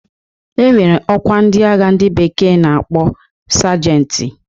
E nwere ọkwa ndị agha ndị bekee na-akpọ sajenti.